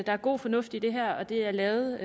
er god fornuft i det her og det er lavet